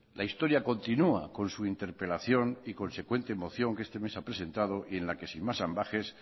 la historia continua con su interpelación y consecuente moción que este mes ha presentado y en la que sin más ambages